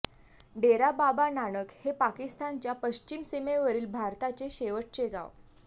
डेरा बाबा नानक हे पाकिस्तानच्या पश्चिम सीमेवरचे भारताचे शेवटचे गाव